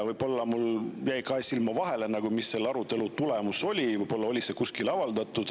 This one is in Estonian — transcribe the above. Võib-olla mul jäi midagi kahe silma vahele, mis selle arutelu tulemus oli, võib-olla on see kuskil avaldatud.